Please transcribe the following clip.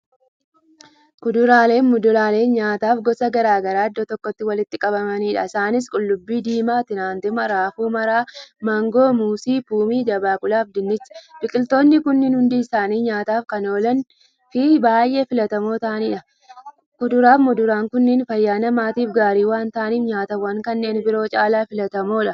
Kuduraaleefi muduraalee nyaataaf gosa garagaraa iddoo tokkotti walitti qabamaniidha. isaanis; qullubbii diimaa, timaatima, raafuu maramaa, maangoo, muuzii, poomii, dabaaqulafi dinnicha. biqiltoonni kunniin hundi isaanii nyaataaf Kan oolaniifi baay'ee filatamoo taa'aniidha. Kuduraafi muduraan kunniin fayyaa namaatiif gaarii waan ta'aniif nyaatawwaan kanneen biroo caalaa filatamoodha.